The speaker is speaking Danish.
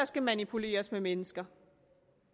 skal manipuleres med mennesker